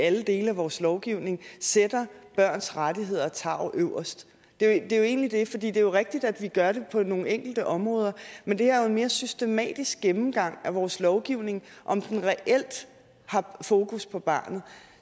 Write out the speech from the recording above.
alle dele af vores lovgivning sætter børns rettigheder og tarv øverst det er jo egentlig det for det er jo rigtigt at vi gør det på nogle enkelte områder men det her er jo en mere systematisk gennemgang af vores lovgivning og om den reelt har fokus på barnet